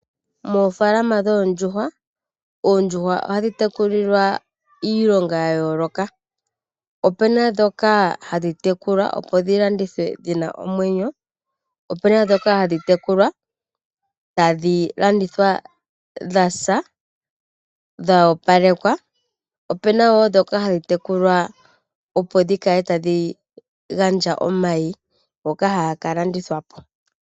Moofaalama dhondjuhwa, oondjuhwa ohadhitekulilwa iilonga yayoloka, opena dhoka hadhitekulwa opo dhilandithwe dhina omwenyo, opena dhoka hadhitekulwa tadhilanditha dhasa dha opalekwa opena wo dhoka hadhitekulwa opo shikale tadhingandja omayi ngoka hanga kalandithwapo.